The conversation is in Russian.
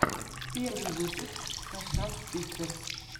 первый выпуск хашак систерс